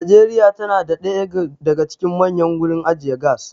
Nigeria tana da ɗaya daga cikin manyan gurin ajiye gas